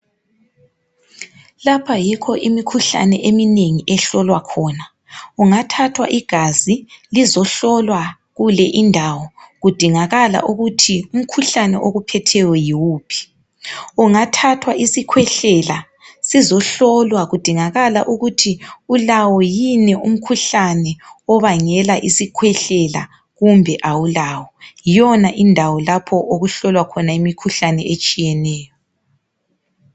Lapha yikho imikhuhlane eminengi ehlolwa khona, kungathathwa igazi lizohlolwa kule indawo kudingakala ukuthi umkhuhlane okuphetheyo yiwuphi. Kungathathwa isikhwehlela sizohlolwakudingakala ukuthi ulawo yini umkhuhlane obangela isikhwehlela kumbe awulayo. Yiyona indawo lapho okuhlolwa khona imikhuhlane etshiyeneyo.